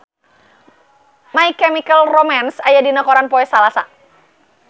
My Chemical Romance aya dina koran poe Salasa